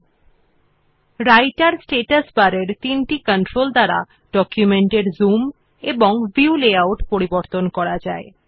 the three controls on the রাইটের status bar also allow to change the zoom and view layout of our document